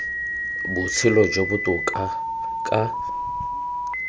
botshelo jo bo botoka ka